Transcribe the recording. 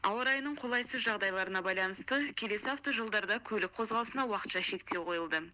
ауа райының қолайсыз жағдайларына байланысты келесі автожолдарда көлік қозғалысына уақытша шектеу қойылды